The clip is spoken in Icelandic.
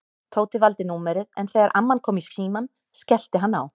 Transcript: Tóti valdi númerið en þegar amman kom í símann skellti hann á.